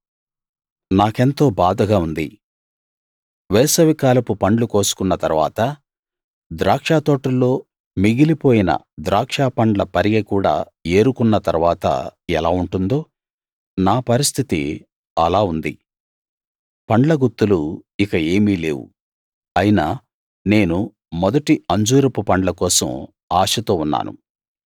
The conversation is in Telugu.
నాకెంతో బాధగా ఉంది వేసవికాలపు పండ్లు కోసుకున్న తరువాత ద్రాక్షతోటల్లో మిగిలిపోయిన ద్రాక్షపండ్ల పరిగె కూడా ఏరుకున్న తరువాత ఎలా ఉంటుందో నా పరిస్థితి ఆలా ఉంది పండ్ల గుత్తులు ఇక ఏమీ లేవు అయినా నేను మొదటి అంజూరపు పండ్ల కోసం ఆశతో ఉన్నాను